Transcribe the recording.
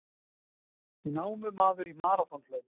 Námumaður í maraþonhlaup